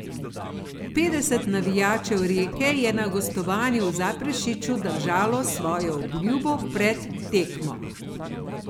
Petdeset navijačev Rijeke je na gostovanju v Zaprešiću držalo svojo obljubo pred tekmo.